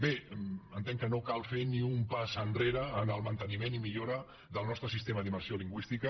bé entenc que no cal fer ni un pas enrere en el manteniment i millora del nostre sistema d’immersió lingüística